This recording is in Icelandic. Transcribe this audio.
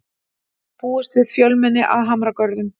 Búist við fjölmenni að Hamragörðum